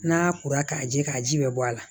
N'a kora k'a jɛ k'a ji bɛ bɔ a la